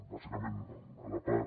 bàsicament a la part